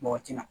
Mɔgɔ tina